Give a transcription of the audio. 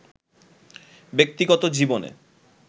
ব্যক্তিগত জীবনে